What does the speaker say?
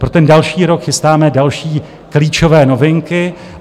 Pro ten další rok chystáme další klíčové novinky.